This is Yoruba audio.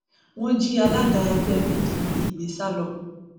wọn jí alága ẹgbẹ pdp gbé sá lọ